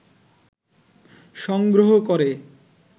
সংগ্রহ করে